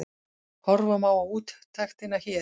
Horfa má á úttektina hér